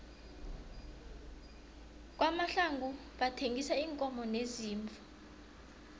kwamahlangu bathengisa iinkomo neziimvu